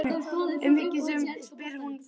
Umhyggjusöm spyr hún hvort mér líði illa.